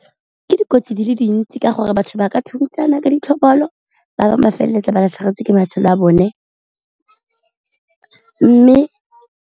Ke dikotsi di le dintsi ka gore batho ba ka ka ditlhobolo, ba bangwe ba feleletsa ba latlhegetswe ke matshelo a bone mme.